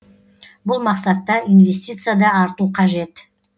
бұл мақсатта инвестиция да арту қажет